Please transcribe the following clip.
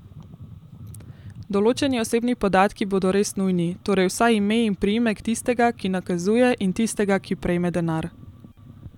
Določeni osebni podatki bodo res nujni, torej vsaj ime in priimek tistega, ki nakazuje, in tistega, ki prejme denar.